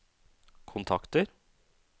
kontakter